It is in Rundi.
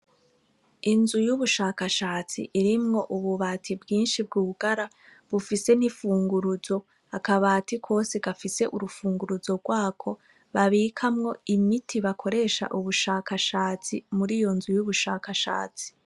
Inzu y'ubushakashatsi irimwo ububati bwinshi bwugara, bufise n'imfunguruzo. Akabati kose gafise urufunguruzo rwako, babikamwo imiti bakoresha ubushakashatsi muri iyo nzu y'ubushakashatsi.